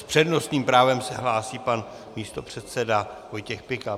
S přednostním právem se hlásí pan místopředseda Vojtěch Pikal.